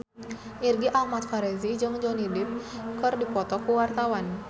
Irgi Ahmad Fahrezi jeung Johnny Depp keur dipoto ku wartawan